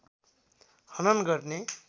हनन गर्ने